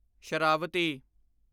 Sharavathi